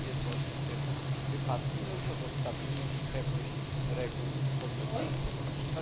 Tak jest właśnie w tym wypadku i narusza to stabilność i pewność reguł podmiotów gospodarczych.